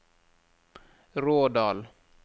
Rådal